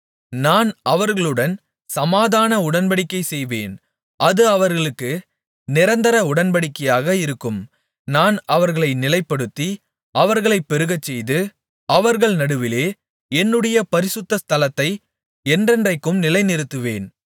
நான் அவர்களுடன் சமாதான உடன்படிக்கை செய்வேன் அது அவர்களுக்கு நிரந்தர உடன்படிக்கையாக இருக்கும் நான் அவர்களை நிலைப்படுத்தி அவர்களை பெருகச்செய்து அவர்கள் நடுவிலே என்னுடைய பரிசுத்த ஸ்தலத்தை என்றென்றைக்கும் நிலைநிறுத்துவேன்